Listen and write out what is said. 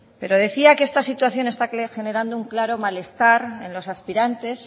pero decía que esta situación está generando un claro malestar en los aspirantes